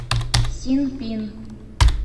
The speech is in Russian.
синпин